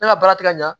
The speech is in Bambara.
Ne ka baara tɛ ka ɲa